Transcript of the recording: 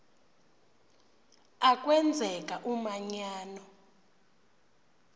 a kwenzeka umanyano